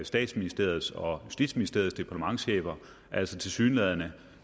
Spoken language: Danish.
statsministeriets og justitsministeriets departementschefer altså tilsyneladende